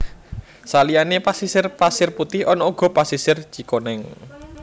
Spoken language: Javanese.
Saliyane pasisir Pasir Putih ana uga Pasisir Cikoneng